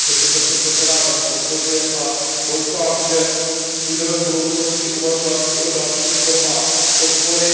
Proto jsem tento návrh podpořil a doufám, že budeme v budoucnosti uvažovat i o dalších formách podpory.